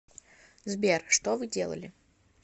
сбер что вы делали